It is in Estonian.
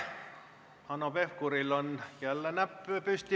Hanno Pevkuril on jälle näpp püsti.